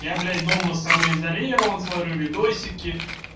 я блять дома самоизолирован смотрю видосики